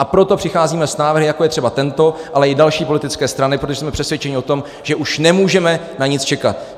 A proto přicházíme s návrhy, jako je třeba tento, ale i další politické strany, protože jsme přesvědčeni o tom, že už nemůžeme na nic čekat.